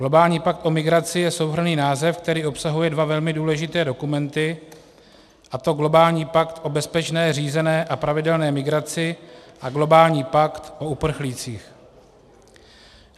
Globální pakt o migraci je souhrnný název, který obsahuje dva velmi důležité dokumenty, a to globální pakt o bezpečné, řízené a pravidelné migraci a globální pakt o uprchlících.